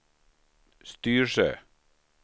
Styrsö